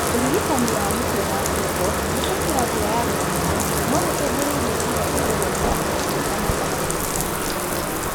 ũrigitani wa mũtwe na ngingo kũhĩtũkĩra njĩra ya gũcinwo, no gũcũngĩrĩrie ciĩga cia gũthondeka mata kũruta mata manini kana ciage